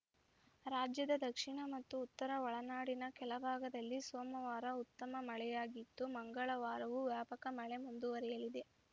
ರಾಜ್ಯದ ದಕ್ಷಿಣ ಮತ್ತು ಉತ್ತರ ಒಳನಾಡಿನ ಕೆಲ ಭಾಗದಲ್ಲಿ ಸೋಮವಾರ ಉತ್ತಮ ಮಳೆಯಾಗಿದ್ದು ಮಂಗಳವಾರವೂ ವ್ಯಾಪಕ ಮಳೆ ಮುಂದುವರೆಯಲಿದೆ